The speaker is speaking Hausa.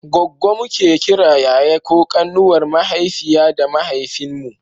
goggo muke kiran yaya ko ƙanwar mahaifiya da mahaifin mu